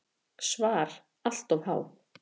SVAR Allt of há.